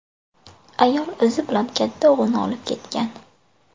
Ayol o‘zi bilan katta o‘g‘lini olib ketgan.